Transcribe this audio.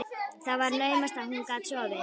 Það var naumast að hún gat sofið.